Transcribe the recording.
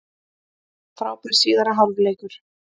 Frábær síðari hálfleikur